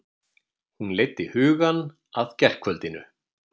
Hún leiddi hugann að gærkvöldinu.